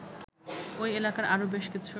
ওই এলাকার আরও বেশকিছু